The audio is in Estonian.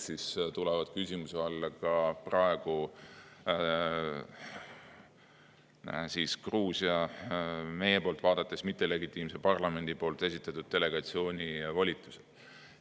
Seal tulevad küsimuse alla ka meie poolt vaadates Gruusia praeguse mittelegitiimse parlamendi esitatud delegatsiooni volitused.